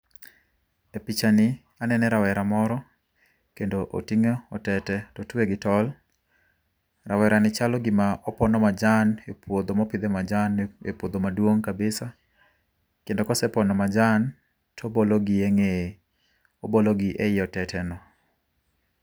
E pichani, anene rawera moro, kendo oting'o otete totwe gi tol. Rawera ni chalo gima opono majan e puodho mopidhe majan, e puodho maduong' kabisa, kendo kosepono majan tobologi e ng'eye, obologi e yi otete no